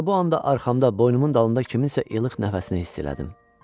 Elə bu anda arxamda, boynumun dalında kiminsə ilıq nəfəsini hiss elədim.